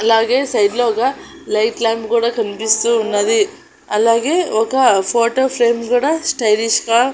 అలాగే సైడ్ లో ఒగ లైట్ లాంప్ కూడా కన్పిస్తూ ఉన్నది అలాగే ఒక ఫోటో ప్రేమ్ కుడా స్టైలిష్ గా--